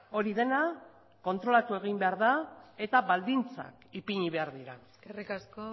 hori dena kontrolatu egin behar da eta baldintzak ipini behar dira eskerrik asko